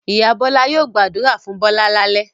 Ìyá Bọ́lá yóò gbàdúrà fún Bọ́lá lálẹ́.